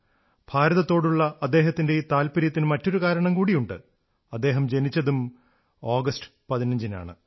ഭാരതത്തോടുള്ള അദ്ദേഹത്തിന്റെ ഈ താത്പര്യത്തിന് മറ്റൊരു കാരണം കൂടിയുണ്ട് അദ്ദേഹം ജനിച്ചതും 15 ആഗസ്റ്റിനാണ്